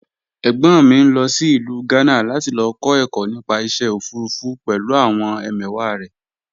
Ẹ̀gbọ́n mi ń lọ sí ìlú Gánà láti lọ kọ́ ẹ̀kọ́ nípa iṣẹ́ òfurufú pẹ̀lú àwọn ẹmẹ̀wàá rẹ̀